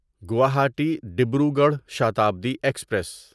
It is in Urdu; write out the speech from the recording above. گواہاٹی ڈبروگڑھ شتابدی ایکسپریس